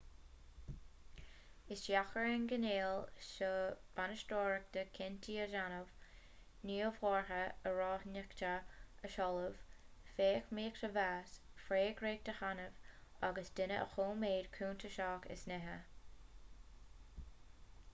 is deacair ar an gcineál seo bainisteora cinntí a dhéanamh gníomhartha araíonachta a sheoladh feidhmíocht a mheas freagracht a shannadh agus daoine a choimeád cuntasach as nithe